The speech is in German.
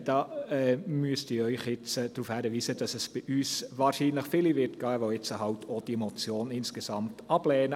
Da müsste ich Sie jetzt darauf hinweisen, dass es bei uns wahrscheinlich viele geben wird, die jetzt halt auch die Motion insgesamt ablehnen.